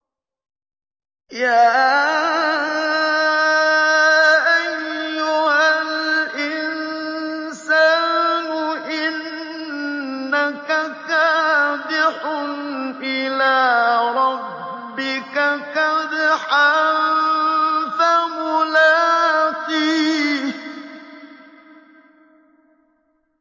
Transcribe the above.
يَا أَيُّهَا الْإِنسَانُ إِنَّكَ كَادِحٌ إِلَىٰ رَبِّكَ كَدْحًا فَمُلَاقِيهِ